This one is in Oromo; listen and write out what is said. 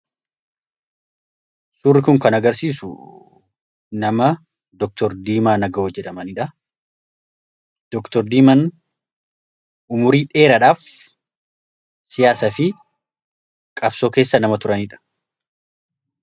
Suurri kun kan agarsiisu nama doktor Diimaa Aga'o jedhamaniidha. Dr diiman umurii dheeraadhaaf siyaasa fi qabsoo keessa nama turaniidha.